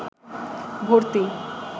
ভর্তি